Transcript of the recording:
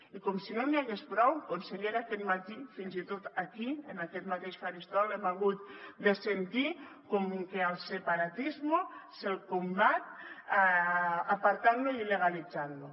i com si no n’hi hagués prou consellera aquest matí fins i tot aquí en aquest mateix faristol hem hagut de sentir que al separatismo se’l combat apartant lo i illegalitzant lo